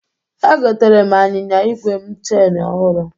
Egotere m anyịnya igwe m cheni ọhụrụ.